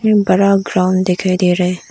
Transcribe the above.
एक बड़ा ग्राउंड दिखाई दे रहा है।